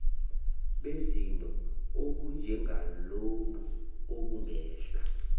bezinto obunjengalobu obungehla